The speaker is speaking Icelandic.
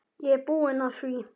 Ég er búinn að því!